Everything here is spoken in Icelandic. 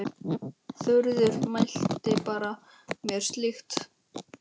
Þuríður mælti banna mér slíkt.